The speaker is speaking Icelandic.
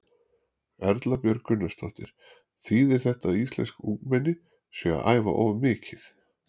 Erla Björg Gunnarsdóttir: Þýðir þetta að íslensk ungmenni séu að æfa of mikið?